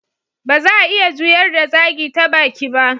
Ba za'a iya juyar da zagi ta baki ba.